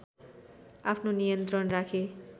आफ्नो नियन्त्रण राखे